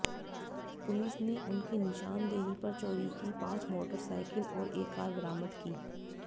police ने उनकी निशानदेही पर चोरी की पांच मोटरसाइकल और एक कार बरामद की